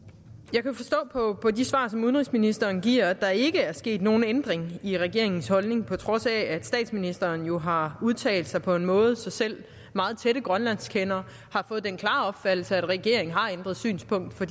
jeg kan forstå på de svar som udenrigsministeren giver at der ikke er sket nogen ændring i regeringens holdning på trods af at statsministeren jo har udtalt sig på en måde så selv meget tætte grønlandskendere har fået den klare opfattelse at regeringen har ændret synspunkt for